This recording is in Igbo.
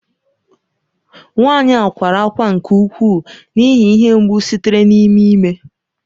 Nwanyị a kwara ákwá nke ukwuu n’ihi ihe mgbu sitere n’ime ime.